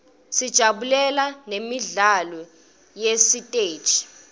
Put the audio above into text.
sijabulela nemidlalo yesiteji